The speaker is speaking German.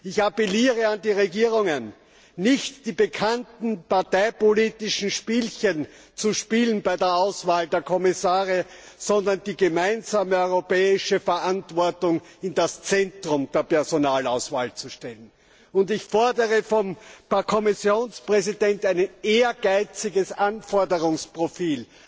Ich appelliere an die Regierungen, nicht die bekannten parteipolitischen Spielchen bei der Auswahl der Kommissare zu spielen, sondern die gemeinsame europäische Verantwortung in das Zentrum der Personalauswahl zu stellen. Ich fordere vom Kommissionspräsident, ein ehrgeiziges Anforderungsprofil